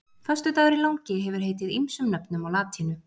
Föstudagurinn langi hefur heitið ýmsum nöfnum á latínu.